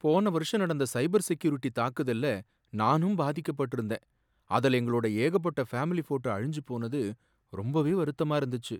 போன வருஷம் நடந்த சைபர் செக்யூரிட்டி தாக்குதல்ல நானும் பாதிக்கப்பட்டிருந்தேன், அதுல எங்களோட ஏகப்பட்ட ஃபேமிலி போட்டோ அழிஞ்சு போனது ரொம்பவே வருத்தமா இருந்துச்சு.